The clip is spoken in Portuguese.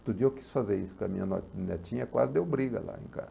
Outro dia eu quis fazer isso com a minha ne netinha, quase deu briga lá em ca?